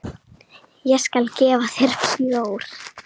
Ég skal gefa þér bjór.